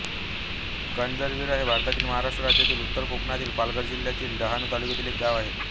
करंजविरा हे भारतातील महाराष्ट्र राज्यातील उत्तर कोकणातील पालघर जिल्ह्यातील डहाणू तालुक्यातील एक गाव आहे